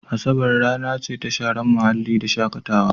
Asabar rana ce ta sharen muhalli da shakatawa.